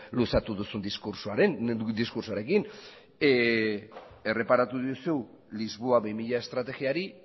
luzatu duzun diskurtsoarekin erreparatu diozu lisboa bi mila estrategiari